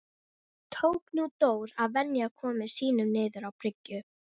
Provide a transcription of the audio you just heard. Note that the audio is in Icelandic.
Tók nú Dór að venja komur sínar niður á bryggju.